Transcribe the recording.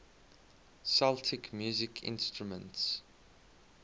celtic musical instruments